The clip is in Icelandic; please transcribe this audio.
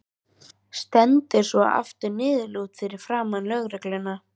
Stendur svo aftur niðurlút fyrir framan lögregluna.